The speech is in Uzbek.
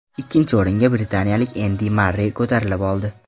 Ikkinchi o‘ringa britaniyalik Endi Marrey ko‘tarilib oldi.